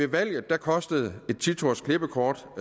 valget kostede det et ti tursklippekort